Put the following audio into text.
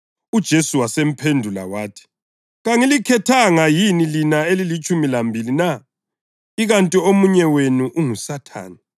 UJesu wasephendula wathi, “Kangilikhethanga yini, lina elilitshumi lambili na? Ikanti omunye wenu unguSathane!”